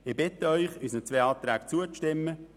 Ich bitte Sie, unseren zwei Anträgen zuzustimmen.